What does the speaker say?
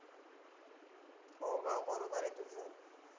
होग बरोबर आहे तुझ.